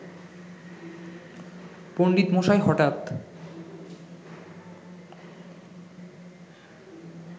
পণ্ডিতমশাই হঠাৎ